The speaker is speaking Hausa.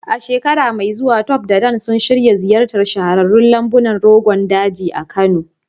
A shekara mai zuwa, Tope da Dan suna shirin ziyartar shahararrun lambunan Rogon Daji a Kano.